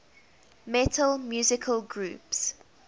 metal musical groups